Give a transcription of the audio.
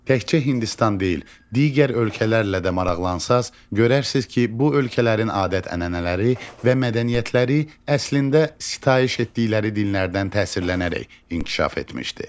Təkcə Hindistan deyil, digər ölkələrlə də maraqlansanız, görərsiz ki, bu ölkələrin adət-ənənələri və mədəniyyətləri əslində sitayiş etdikləri dinlərdən təsirlənərək inkişaf etmişdi.